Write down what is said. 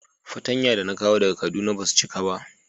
Fatanya da na kawo daga kaduna ba su cika ba.